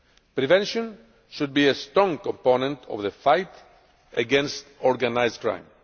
Prevention should be a strong component of the fight against organised crime.